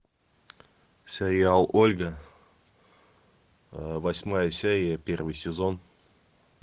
сериал ольга восьмая серия первый сезон